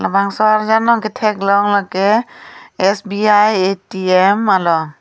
labangso arjan along katheklong lake sbi atm along.